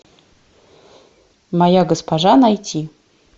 моя госпожа найти